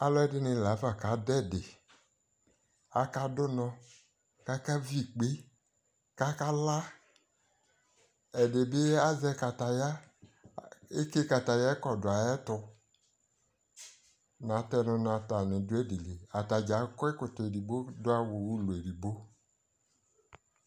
alʋɛdini laƒa kadʋ ɛdi, aka dʋnɔ kʋ aka vi ikpɛ kʋ aka la, ɛdibi azɛ kataya, ɛtsɛ katayaɛ kɔdʋ nʋ ayɛtʋ, na tɛnu nʋ atani dʋ ɛdili, atagya akɔ ɛkɔtɔ ɛdigbɔ dʋ awʋlʋ ɛdigbɔ